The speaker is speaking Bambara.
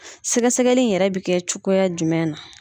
Sɛgɛsɛgɛli yɛrɛ bɛ kɛ cogoya jumɛn na.